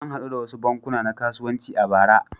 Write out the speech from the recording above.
An haɗu da wasu bankuna na kasuwanci a bara.